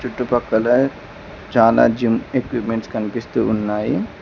చుట్టుపక్కల చాలా gym equipments కనిపిస్తూ ఉన్నాయి.